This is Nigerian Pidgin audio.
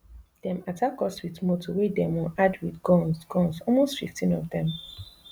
dem attack us wit motor wey demo add wit guns guns almost fifteen of dem